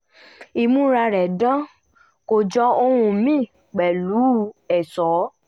ìmúra rẹ̀ dán kó jọ ohun míì pẹ̀lú ẹ̀ṣọ́